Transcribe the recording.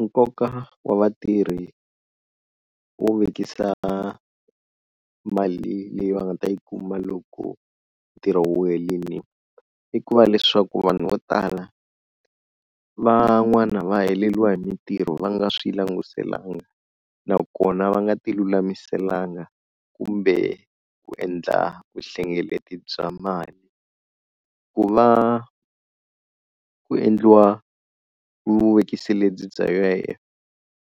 Nkoka wa vatirhi wo vekisa mali leyi va nga ta yi kuma loko ntirho wu herile, i ku va leswaku vanhu vo tala van'wana va heleriwa hi mintirho va nga swi langutelanga nakona va nga ti lulamiselanga kumbe ku endla vuhlengeleti bya mali, ku va ku endliwa vuvekisi lebyi bya bya U_I_F